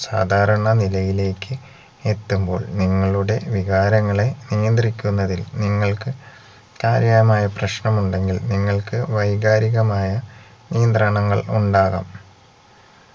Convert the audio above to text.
സാദാരണ നിലയിലേക്ക് എത്തുമ്പോൾ നിങ്ങളുടെ വികാരങ്ങളെ നിയന്ത്രിക്കുന്നതിൽ നിങ്ങൾക്ക് കാര്യാമായ പ്രശ്നം ഉണ്ടെങ്കിൽ നിങ്ങൾക്ക് വൈകാരികമായ നിയന്ത്രണങ്ങൾ ഉണ്ടാകാം